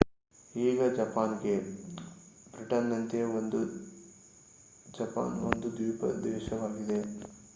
ಈಗ ಜಪಾನ್‌ಗೆ. ಬ್ರಿಟನ್‌ನಂತೆಯೇ ಜಪಾನ್ ಒಂದು ದ್ವೀಪ ದೇಶವಾಗಿದೆ